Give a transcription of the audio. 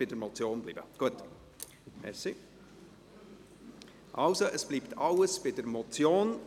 Der Motionär wandelt nicht, alles bleibt bei einer Motion.